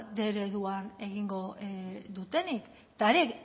bostehun ereduan egingo dutenik